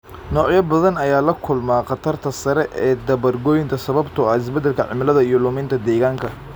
Noocyo badan ayaa la kulma khatarta sare ee dabar goynta sababtoo ah isbedelka cimilada iyo luminta deegaanka.